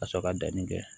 Ka sɔrɔ ka danni kɛ